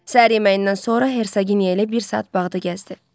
Səhər yeməyindən sonra Heraginiya ilə bir saat bağda gəzdi.